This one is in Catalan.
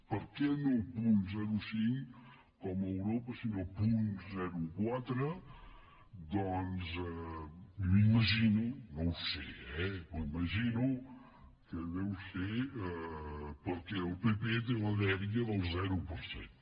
per què no punt zero coma cinc com a europa sinó punt zero coma quatre doncs m’imagino no ho sé eh que deu ser perquè el pp té la dèria del zero per cent